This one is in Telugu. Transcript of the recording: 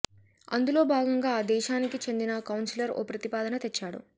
అందులో భాగంగా ఆ దేశానికి చెందిన కౌన్సెలర్ ఓ ప్రతిపాదన తెచ్చాడు